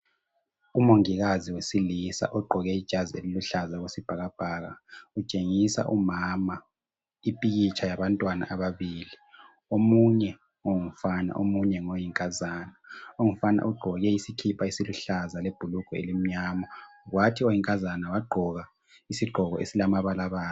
Umongikazi wesilisa ogqoke ijazi eliluhlaza okwesibhakabhaka utshengisa umama ipikitsha yabantwana ababili omunye ngumfana omunye uyinkazana. Ongumfana ugqoke isikipa esiluhlaza lebhulugwe elimnyama kwathi oyinkazana wagqoka isigqoko esilamabalabala.